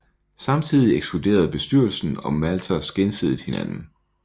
Samtidig ekskluderede bestyrelsen og Mathers gensidigt hinanden